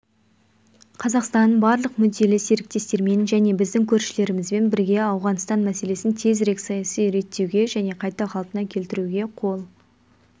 қазақстан барлық мүдделі серіктестермен және біздің көршілерімізбен бірге ауғанстан мәселесін тезірек саяси реттеуге және қайта қалпына келтіруге қол